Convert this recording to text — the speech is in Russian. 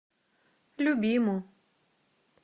любиму